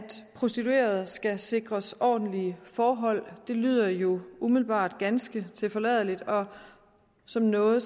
prostituerede skal sikres ordentlige forhold det lyder jo umiddelbart ganske tilforladeligt og som noget